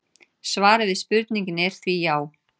svarið við spurningunni er því já!